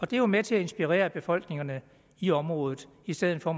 det er jo med til at inspirere befolkningerne i området i stedet for